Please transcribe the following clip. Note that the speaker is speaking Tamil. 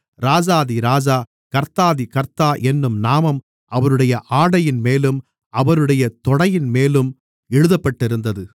ராஜாதி ராஜா கர்த்தாதி கர்த்தா என்னும் நாமம் அவருடைய ஆடையின்மேலும் அவருடைய தொடையின்மேலும் எழுதப்பட்டிருந்தது